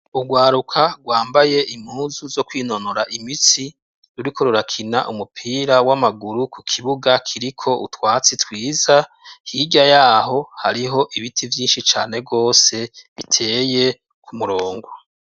urwaruka rwambaye impuzu zo kwinonora imitsi ruriko rurakina umupira w'amaguru ku kibuga kiriko utwatsi twiza hirya yaho hariho ibiti vyinshi cane rwose biteye kumurongo.